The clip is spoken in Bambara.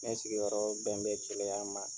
Ne sigiyɔrɔ bɛn bɛ Keleya ma.